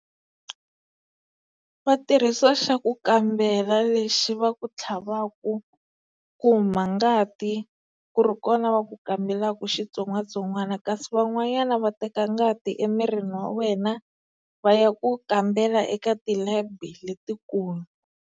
Va tirhisa xa ku kambela lexi va ku tlhavaka huma ngati ku ri kona va ku kambelaka xitsongwatsongwana kasi van'wanyana va teka ngati emirini wa wena va ya ku kambela eka ti-lab-i letikulu.